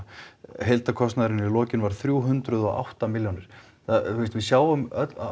heildarkostnaður í lokin var þrjú hundruð og átta milljónir þú veist við sjáum